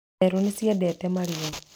Therũ nĩ ciendete marigũ.